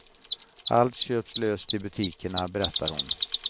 Allt köps löst i butikerna, berättar hon.